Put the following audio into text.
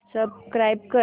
subscribe कर